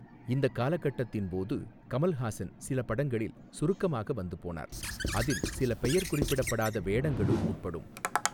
இந்தக் காலகட்டத்தின் போது கமல்ஹாசன் சில படங்களில் சுருக்கமாக வந்துபோனார், அதில் சில பெயர் குறிப்பிடப்படாத வேடங்களும் உட்படும்.